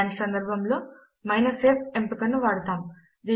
అలాంటి సందర్భములో f ఎంపికను వాడతాము